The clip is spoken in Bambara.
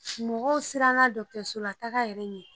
Mɔgɔw sirannn dɔgɔtɔrɔsolataga yɛrɛ ɲɛ